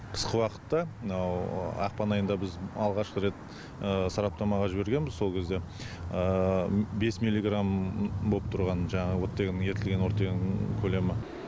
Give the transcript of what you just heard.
қысқы уақытта мынау ақпан айында біз алғашқы рет сараптамаға жібергенбіз сол кезде бес миллиграмм боп тұрған жаңағы оттегінің ерітілген оттегінің көлемі